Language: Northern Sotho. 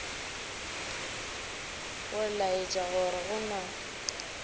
go laetša gore go na